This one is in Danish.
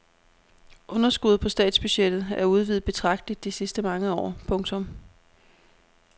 Underskuddet på statsbudgettet er udvidet betragteligt de sidste mange år. punktum